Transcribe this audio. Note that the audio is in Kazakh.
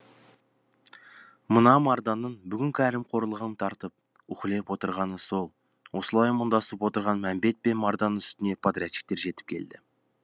мына марданның бүгін кәрім қорлығын тартып уһлеп отырғаны сол осылай мұңдасып отырған мәмбет пен марданның үстіне подрядчиктер жетіп келді